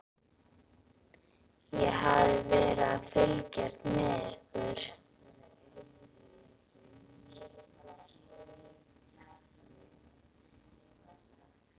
Ég hafði verið að fylgjast með ykkur.